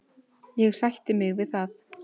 Ég sætti mig við það.